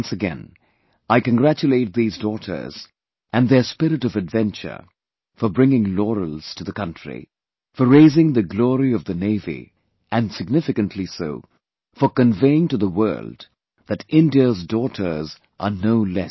Once again, I congratulate these daughters and their spirit of adventure for bringing laurels to the country, for raising the glory of the Navy and significantly so, for conveying to the world that India's daughters are no less